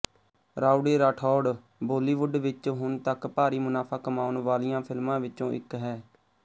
Rowdy Rathore Bollywood ਵਿੱਚ ਹੁਣ ਤੱਕ ਭਾਰੀ ਮੁਨਾਫਾ ਕਮਾਉਣ ਵਾਲਿਆਂ ਫਿਲਮਾਂ ਵਿੱਚੋਂ ਇੱਕ ਹੈ